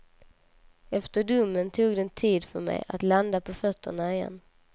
Efter domen tog det en tid för mig att landa på fötterna igen.